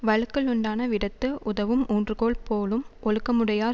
வழுக்கலுண்டான விடத்து உதவும் ஊன்றுகோல் போலும் ஒழுக்கமுடையார்